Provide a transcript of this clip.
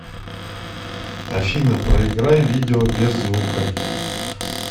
афина проиграй видео без звука